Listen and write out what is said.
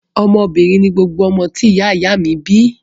Ọmọ obìnrin ni gbogbo ọmọ tí ìyá ìyá a mi bi